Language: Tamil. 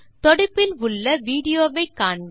தொடுப்பில் உள்ள விடியோ வை காண்க